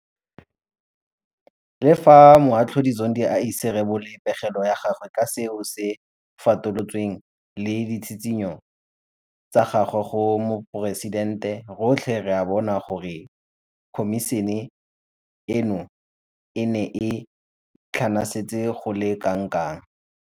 Le fa Moatlhodi Zondo a ise a rebole pegelo ya gagwe ka seo se fatolotsweng le ditshitshinyo tsa gagwe go Moporesitente, rotlhe re a bona gore khomišene eno e ne e tlhanasetse go le kana kang.